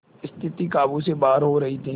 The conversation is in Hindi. स्थिति काबू से बाहर हो रही थी